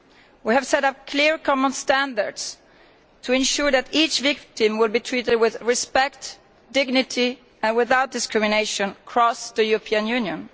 We have set up clear common standards to ensure that each victim is treated with respect, dignity and without discrimination across the European Union.